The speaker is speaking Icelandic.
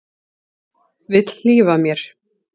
Vill hlífa mér.